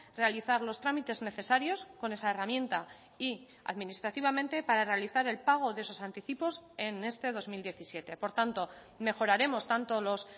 realizar los trámites necesarios con esa herramienta y administrativamente para realizar el pago de esos anticipos en este dos mil diecisiete por tanto mejoraremos tanto los